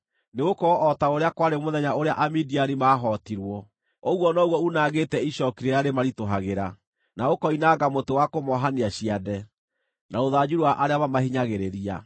Nĩgũkorwo o ta ũrĩa kwarĩ mũthenya ũrĩa Amidiani maahootirwo, ũguo noguo unangĩte icooki rĩrĩa rĩmaritũhagĩra, na ũkoinanga mũtĩ wa kũmoohania ciande, na rũthanju rwa arĩa mamahinyagĩrĩria.